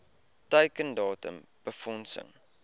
teiken datum befondsing